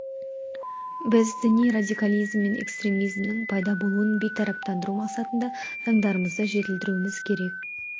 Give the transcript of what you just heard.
біз діни радикализм мен экстремизмнің пайда болуын бейтараптандыру мақсатында заңдарымызды жетілдіруіміз керек